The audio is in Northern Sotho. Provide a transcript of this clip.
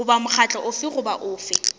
goba mokgatlo ofe goba ofe